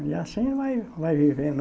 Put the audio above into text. E assim vai vai vivendo.